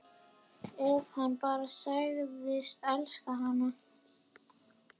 Ef hann bara segðist elska hana: